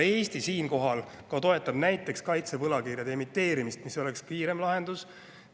Eesti siinkohal toetab näiteks ka kaitsevõlakirjade emiteerimist, mis oleks kiireim lahendus.